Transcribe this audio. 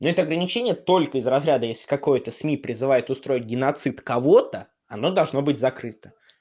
нет ограничения только из разряда если какое-то сми призывают устроить геноцид кого-то оно должно быть закрыто